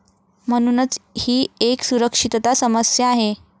म्हणूनच ही एक सुरक्षितता समस्या आहे.